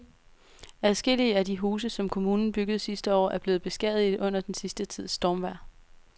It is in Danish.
Adskillige af de huse, som kommunen byggede sidste år, er blevet beskadiget under den sidste tids stormvejr.